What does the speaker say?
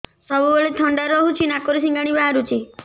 ସବୁବେଳେ ଥଣ୍ଡା ରହୁଛି ନାକରୁ ସିଙ୍ଗାଣି ବାହାରୁଚି